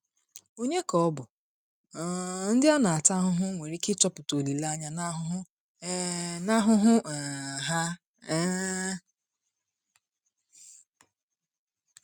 Ọ̀nye ka bụ um ndị a na-ata ahụhụ nwere ike ịchọta olileanya n’ahụhụ um n’ahụhụ um ha? um